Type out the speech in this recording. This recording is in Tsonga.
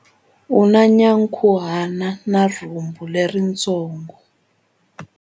U na nyankhuhana na rhumbu leritsongo.